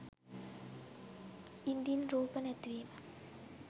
ඉදින් රූප නැතිවීම